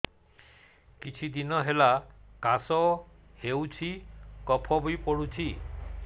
କିଛି ଦିନହେଲା କାଶ ହେଉଛି କଫ ବି ପଡୁଛି